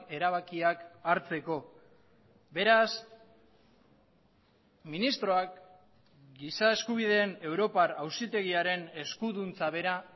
erabakiak hartzeko beraz ministroak giza eskubideen europar auzitegiaren eskuduntza bera